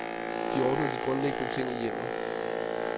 De ordnede de grundlæggende ting i hjemmet.